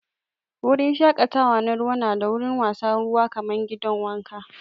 Wurin shakatawa na ruwa na da wurin wasan ruwa kaman gidan wanka.